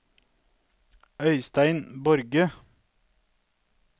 Øystein Borge